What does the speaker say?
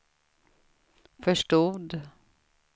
förstod